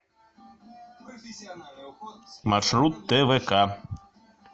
маршрут твк